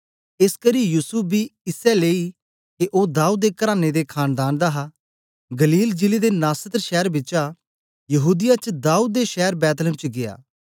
एसकरी युसूफ बी इसै लेई के ओ दाऊद दे कराने ते खानदान दा हा गलील जिले दे नासरत शैर बिचा यहूदीया च दाऊद दे शैर बैतलहम च गीया